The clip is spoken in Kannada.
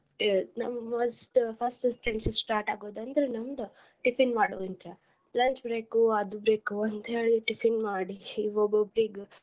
ನಮ್ಮ first first friendship start ಆಗೋದ್ ಅಂದ್ರ ನಮ್ದ. tiffin ಮಾಡೊದಿಂತ್ರ lunch break ಉ ಅದು break ಉ ಅಂತ ಹೇಳಿ tiffin ಮಾಡಿ ಈಗ್ ಒಬ್ಬೊಬ್ಬ್ರಿಗ.